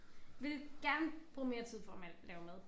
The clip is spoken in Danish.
Ville gerne bruge mere tid på at male lave mad